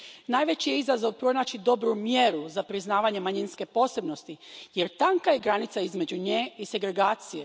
Najveći je izazov pronaći dobru mjeru za priznavanje manjinske posebnosti jer tanka je granica između nje i segregacije.